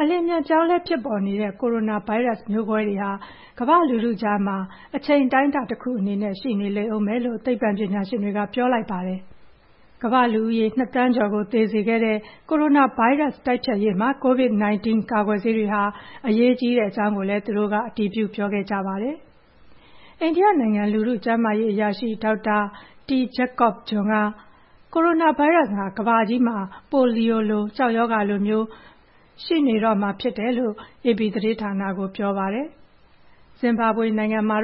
အလျင်အမြန်ပြောင်းလဲဖြစ်ပေါ်နေတဲ့ ကိုရိုနာဗိုင်းရပ်စ်ဟာ ကမ္ဘာ့လူထုကြားမှာ တချိန်အတိုင်းတာတခုအနေနဲ့ ရှိနေလိမ့်အုံးမယ်လို့ သိပ္ပံပညာရှင်တွေက ပြောလိုက်ပါတယ်။ ကမ္ဘာ့လူဦးရေ ၂,၀၀၀,၀၀၀ ကျော်ကို သေစေခဲ့တဲ့ ကိုရိုနာဗိုင်းရပ်စ်တိုက်ဖျက်ရေးမှာ ကိုဗစ်-၁၉ ကာကွယ်ဆေးတွေဟာ အရေးကြီးကြောင်းကိုလည်း သူတို့က အတည်ပြုပြောခဲ့ကြတာပါ။ အိန္ဒိယနိုင်ငံ လူထုကျန်းမာရေးအရာရှိ ဒေါက်တာ T. Jacob John က ကိုရိုနာဗိုင်းရပ်စ်ဟာ ကမ္ဘာကြီးမှာ ပိုလီယိုလို၊ ကျောက်ရောဂါလိုမျိုး ဒီ ဗိုင်းရပ်စ်ကတော့ ရှိနေတော့မှာဖြစ်တယ်လို့ အေပီသတင်းဌာနကို ပြောပါတယ်။ ဇင်ဘာဘွေနိုင်ငံဟာ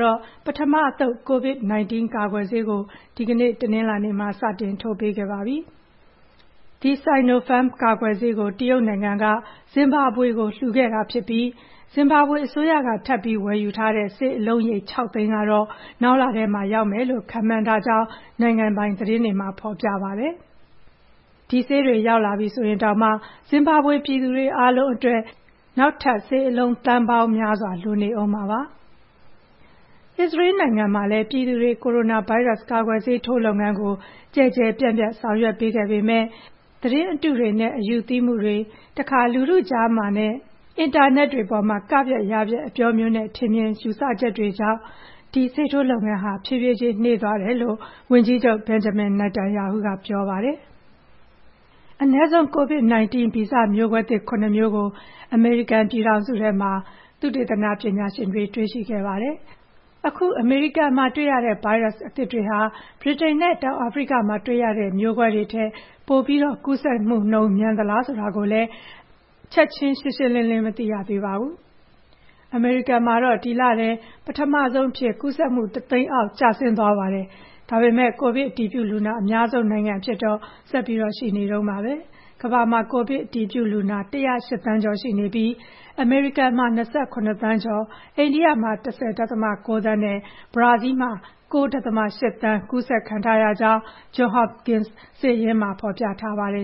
ပထမအသုတ် ကိုဗစ်-၁၉ ကာကွယ်ဆေးကို အခု တနင်္လာနေ့မှာ စတင်ထိုးပေးခဲ့ပါပြီ။ The Sinopharm ကာကွယ်ဆေးကို တရုတ်နိုင်ငံက ဇင်ဘာဘွေကို လှူခဲ့တာဖြစ်ပြီး အစိုးရက ထပ်ပြီးဝယ်ယူထားတဲ့ ဆေးအလုံးရေ ၆၀၀,၀၀၀ ကတော့ နောက်လထဲမှာ ရောက်မယ်လို့ ခန့်မှန်းကြောင်း နိုင်ငံပိုင်သတင်းမှာ ဖော်ပြပါတယ်။ ဒီဆေးတွေ ရောက်လာပြီဆိုရင်တောင်မှာ ဇင်ဘာဘွေပြည်သူတွေအားလုံး အတွက်ဆိုရင် နောက်ထပ် ဆေးအလုံး သန်းပေါင်းများစွာ လိုနေတာပါ။ အစ္စရေးနိုင်ငံမှာလည်း ပြည်သူတွေ ကိုရိုနာဗိုင်းရပ်စ် ကာကွယ်ဆေးထိုးလုပ်ငန်းကို ကျယ်ကျယ်ပြန့်ပြန့်ဆောင်ရွက်ပေးခဲ့ပေမဲ့ အခု သတင်းအတုတွေနဲ့ အယူသီးမှုတွေ၊ နောက် တခါတရံမှာ လူထုကြားမှာနဲ့အင်တာနက်တွေအပေါ်မှာ က-ဖျက်၊ ယ-ဖျက် အပြောမျိုးနဲ့ ထင်မြင်ချက်တွေကြောင့် ဒီဆေးထိုးလုပ်ငန်းဟာ ဖြည်းဖြည်းချင်းနှေးသွားကြောင်း - ဝန်ကြီးချုပ် ဘန်ဂျမင် နာတန်ရာဟုက ပြောပါတယ်။ သုတေသနပညာရှင်တွေဟာ အနည်းဆုံး ကိုဗစ်-၁၉ ဗီဇမျိုးကွဲသစ် ၇ မျိုးကို အမေရိကန်ပြည်ထောင်စုထဲမှာ တွေ့ရှိခဲ့ပါတယ်။ ဒါဟာ အမေရိကန်မှာတွေ့ရတဲ့ ဗိုင်းရပ်စ်အသစ်တွေဟာ ဗြိတိန်နဲ့ တောင်အာဖရိကမှာတွေ့ရတဲ့ မျိုးကွဲတွေထက် ပိုပြီး ကူးစက်နှုန်းမြန်သလား ဆိုတာကိုလည်း ချက်ခြင်း ကွဲကွဲပြားပြား မသိရသေးပါဘူး။ အမေရိကန်မှာတော့ ဒီလထဲ ပထမဆုံးအဖြစ် ကူးစက်မှု ၁၀၀,၀၀၀ အောက်ကျဆင်းသွားပါတယ်။ ဒါပေမဲ့ ကိုဗစ်အတည်ပြုလူနာအများဆုံး နိုင်ငံအဖြစ်တော့ ဆက်ပြီးရှိနေတုန်းပါပဲ။ ကမ္ဘာမှာ ကိုဗစ် အတည်ပြုလူနာ ၁၀၈ သန်းကျော်ရှိပြီး အမေရိကန်က ၂၇ သန်းကျော်၊ အိန္ဒိယမှာ ၁၀.၉ သန်းနဲ့ ဘရာဇီးလ်မှာက ၉.၈ သန်း ကူးစက်ခံထားရကြောင်း ဂျွန်ဟော့ပ်ကင်စ် စာရင်းမှာ ဖော်ပြထားပါတယ်